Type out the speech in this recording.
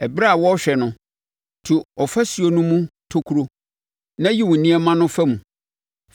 Ɛberɛ a wɔrehwɛ no, tu ɔfasuo no mu tokuro na yi wo nneɛma no fa mu.